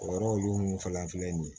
O yɔrɔ olu mun fana filɛ nin ye